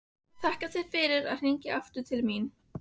Þakka þér fyrir að hringja til mín aftur.